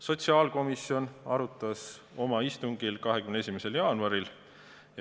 Sotsiaalkomisjon arutas eelnõu oma istungil 21. jaanuaril.